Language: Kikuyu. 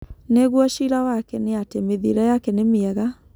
Ningũo cĩĩra wake nĩ atĩ mĩthiĩre yake nĩ mĩega